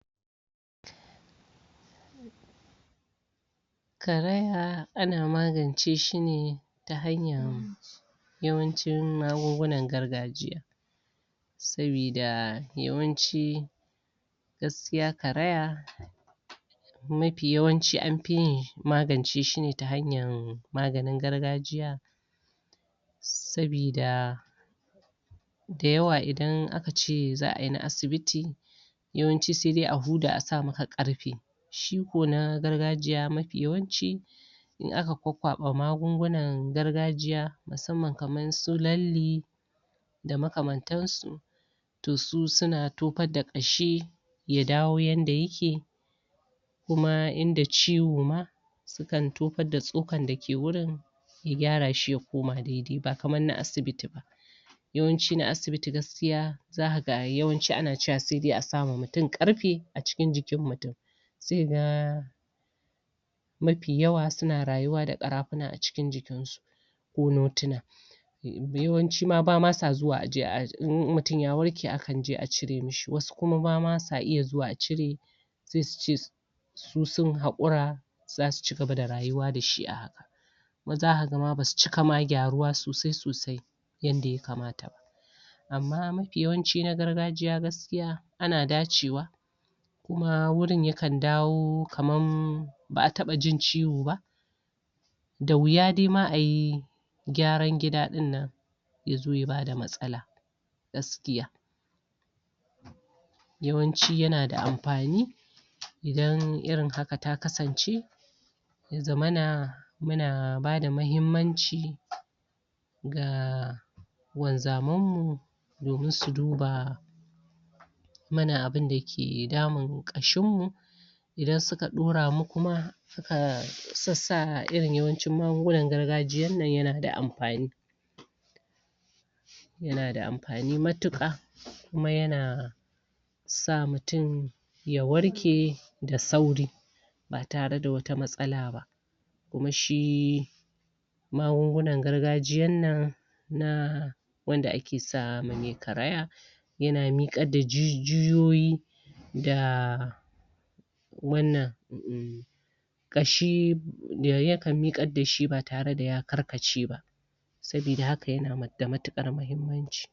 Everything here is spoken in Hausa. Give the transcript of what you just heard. ƙaraya Ana magance shine Ta hanyar Yawanci magungunan gargajiya Saboda Yawanci Gaskiya ƙaraya Mafi yawanci an fiyin Magance shi ta hanyar Maganin gargajiya Sabida Da yawwa idan aka ce za'ayi na asibiti!. Yawanci saidai a huda a sa maka ƙarfe Shi kuma na gargajiya mafi yawanci Idan aka kwa-kwaba magungunan gargajiyar Musamman kamar su lalle, Da makamantan su To su suna toƙar da ƙashi Ya dawo yanda yake Kuma inda ciwo ma Sukan taƙar da tsokan dake wurin Ya gyara shi ya kuma dai-dai ba kamar da asibiti ba Yawanci na asibiti gaskiya Zaka ga yawanci sai dai asa ma mutum ƙarfe a cikin jikin mutum Sai kaga Mafi yawanci suna rayuwa da ƙarafa a cikin jkin su Ko Yawanci ma bama su zuwa a je'a idan mutum ya warke akan je a cire mashi, wasu bama sa iya zuwa a cire, Sai suke Su sun haƙura Zasu cigaba da rayuwa dashi a haka Wasu ma zaka ga basu cika gyaruwa sosai sosai Yanda ya kamata Amma mafi yawanci nagargajiya Gaskiya Ana dace wa Kuma wurin yakan dawo kaman Ba'a daba cin ciwo ba, Da wuya ma ayi Gyaran gida dinnan Yazo ya bada matsala Gaskiya Yawanci yana da amfani Idan irin haka ta kasance Ya zamana Muna bada mahimmanci Ga.. Wanzamai Domin su duba Mana abinda ke damun ƙashin mu Idan suka dora mu kuma suka Shi yasa yawancin irin magungunan gargajiyanan yana da amfani Yana da amfani matuka Kuma yana Sa mutum Ya warke Da sauri Ba tare da wata matsala ba Kuma shi Magungunan gargajiyan nan Na Wanda ake sama mai ƙaraya Yana miƙar da jijuyoyi Da ///////// ƙashi... Yakan mikar dashi ba tare daya karkace ba Saboda haka yana da matukar mahimmanci